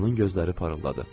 Onun gözləri parıldadı.